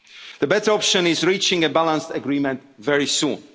and the worst. The better option is reaching a balanced agreement